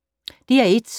DR1